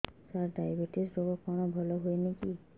ସାର diabetes ରୋଗ କଣ ଭଲ ହୁଏନି କି